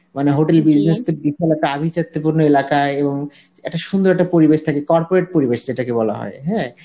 মানে hotel business তা আভিজাত্তি পূর্ণ এলাকায় এবং একটা সুন্দর একটা পরিবেশ থাকে corporate পরিবেশ যেটাকে বলা হয় হ্যাঁ